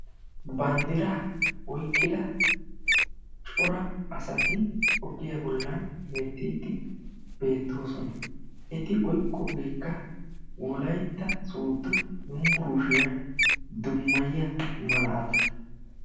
Banddira oyqqida cor asati ogiyaan bollan heettide beettoosona; eti oyqqogeekka Wolaytta Sooddo Yunbburushshiyaa dummayiyaa malata.